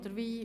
Oder wie?